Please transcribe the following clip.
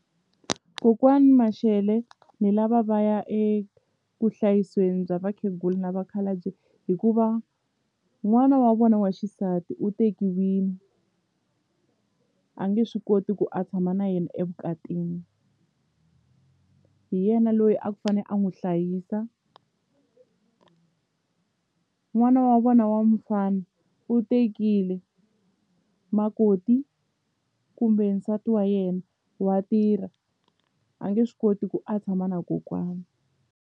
Kokwani Mashele ni lava va ya eku hlayiseni bya vakhegula na vakhalabye hikuva n'wana wa vona wa xisati u tekiwile a nge swi koti ku a tshama na yena evukatini hi yena loyi a ku fanele a n'wi hlayisa n'wana wa vona wa mufana u tekile makoti kumbe nsati wa yena wa tirha a nge swi koti ku a tshama na kokwana.